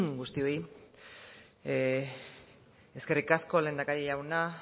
guztioi eskerrik asko lehendakari jauna